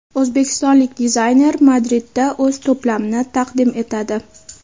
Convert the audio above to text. O‘zbekistonlik dizayner Madridda o‘z to‘plamini taqdim etadi .